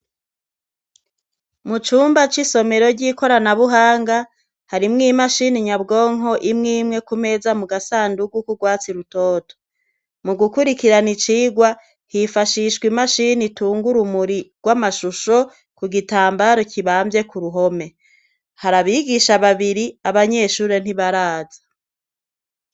Mu cumba c'isomerero ry'ikorana buhanga harimwo imashini nyabwonko imwe imweku meza mu gasandugu k'urwatsi tutoto, mu gukurikirana icigwa hifashishwa imashini itunga urumuri rw'amashusho ku gitambara kibamvye ku ruhome, hari abigisha babiri abanyeshure ntibaraza.